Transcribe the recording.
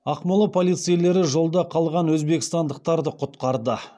ақмола полицейлері жолда қалған өзбекстандықтарды құтқарды